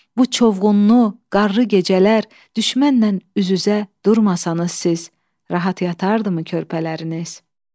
Bu çovğunlu, qarlı gecələr düşmənlə üz-üzə durmasanız siz, rahat yatardımı körpələriniz?